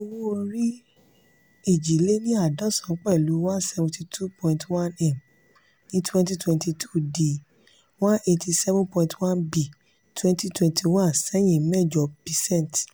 owó orí èjì lé ní àádọ́sán pẹ̀lú one hundred seventy two point one m ní twenty twenty two dì one hundred eighty seven point one b twenty twenty one sehin mẹ́jọ percent.